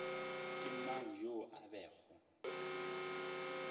ke mang yoo a bego